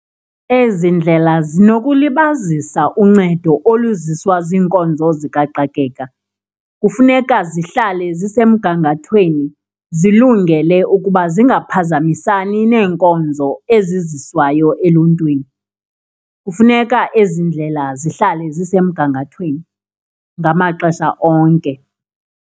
Ezi ndlela zinokulibazisa uncedo oluziswa ziinkonzo zikaxakeka, kufuneka zihlale zisemgangathweni zilungele ukuba zingaphazamisani neenkonzo eziziswayo eluntwini, kufuneka ezi ndlela zihlale zisemgangathweni ngamaxesha onke.